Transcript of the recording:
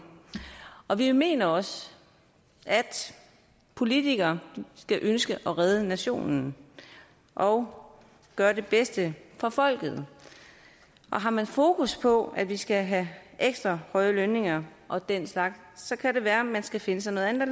og vi mener også at politikere skal ønske at redde nationen og gøre det bedste for folket og har man fokus på at vi skal have ekstra høje lønninger og den slags så kan det være at man skal finde sig noget andet